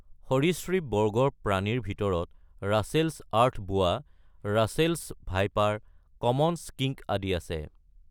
সৰীসৃপ বৰ্গৰ প্ৰাণীৰ ভিতৰত Russell's earth boa, Russell's viper, common skink আদি আছে।